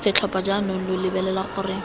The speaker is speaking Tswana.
setlhopha jaanong lo lebelela gore